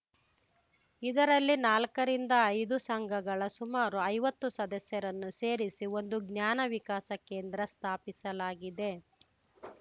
ಇದರಲ್ಲಿ ನಾಲ್ಕರಿಂದ ಐದು ಸಂಘಗಳ ಸುಮಾರು ಐವತ್ತು ಸದಸ್ಯರನ್ನು ಸೇರಿಸಿ ಒಂದು ಜ್ಞಾನ ವಿಕಾಸ ಕೇಂದ್ರ ಸ್ಥಾಪಿಸಲಾಗಿದೆ